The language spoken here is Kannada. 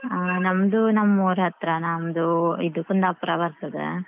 ಅಹ್ ನಮ್ದು ನಮ್ಮ ಊರ್ ಹತ್ರ ನಮ್ದು ಇದು ಕುಂದಾಪುರ ಬರ್ತದೇ.